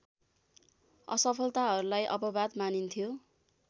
असफलताहरूलाई अपवाद मानिन्थ्यो